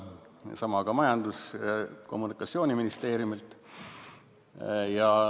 Sama küsisin ka Majandus- ja Kommunikatsiooniministeeriumilt.